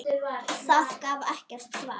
Það gaf ekkert svar.